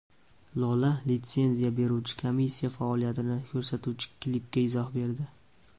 Lola litsenziya beruvchi komissiya faoliyatini ko‘rsatuvchi klipiga izoh berdi.